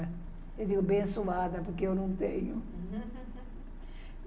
Eu digo, bem suada, porque eu não tenho.